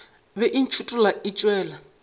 bego e ntšhithola e tšwela